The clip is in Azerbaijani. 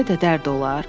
Belə də dərd olar?